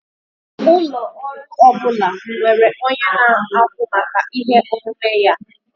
Ụlọ ọrụ ọ bụla nwere onye na-ahụ maka ihe omume ya.